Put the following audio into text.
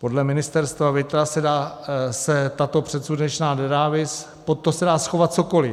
Podle Ministerstva vnitra se tato předsudečná nenávist, pod to se dá schovat cokoliv.